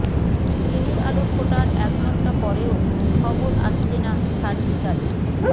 দিনের আলো ফোটার এক ঘণ্টা পরেও খবর আসছে না সার্জিকাল